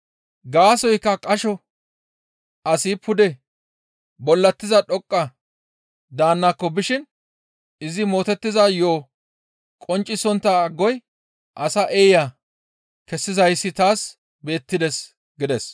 Gaasoykka qasho asi pude bollatiza dhoqqa daannako bishin izi mootettiza yo7o qonccisontta agoy asa eeya kessizayssi taas beettides» gides.